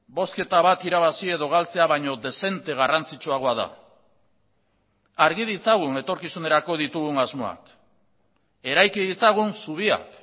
bozketa bat irabazi edo galtzea baino dezente garrantzitsuagoa da argi ditzagun etorkizunerako ditugun asmoak eraiki ditzagun zubiak